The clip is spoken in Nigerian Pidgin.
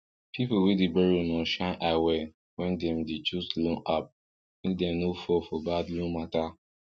people wey dey borrow must shine eye well when dem dey choose loan app make dem no fall for bad loan mata